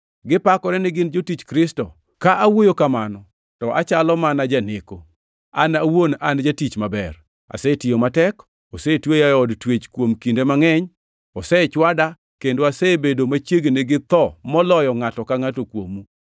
Gipakore gi gin jotich Kristo? Ka awuoyo kamano, to achalo mana janeko. An awuon an jatich maber! Asetiyo matek; osetweya e od twech kuom kinde mangʼeny; osechwada; kendo asebedo machiegni gi tho moloyo ngʼato angʼata kuomgi.